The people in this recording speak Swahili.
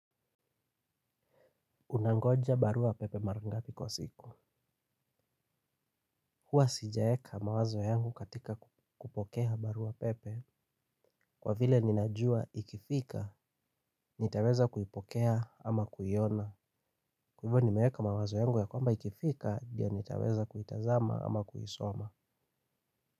Unangoja barua pepe mara ngapi kwa siku. Huwa sijaeka mawazo yangu katika kupokea barua pepe. Kwa vile ninajua ikifika, nitaweza kuipokea kuiona. Kwa hivo nimeeka mawazo yangu ya kwamba ikifika, ndio nitaweza kuitazama ama kuisoma.